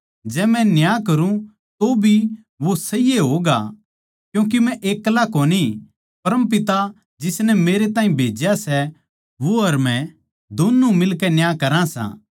जै मै न्याय करूँ भी तो वो सही ए होगा क्यूँके मै एक्ला कोनी पर परम पिता जिसनै मेरै ताहीं भेज्या सै वो अर मै दोन्नु मिलकै न्याय करा सां